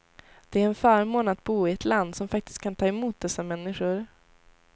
Det är en förmån att bo i ett land som faktiskt kan ta emot dessa människor.